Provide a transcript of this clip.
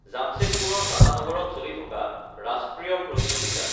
জামচেদপুৰৰ টাটা নগৰত চলি থকা ৰাষ্ট্ৰীয় প্ৰতিযোগিতাত